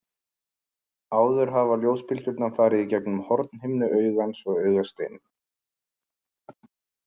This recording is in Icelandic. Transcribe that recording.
Áður hafa ljósbylgjurnar farið í gegnum hornhimnu augans og augasteininn.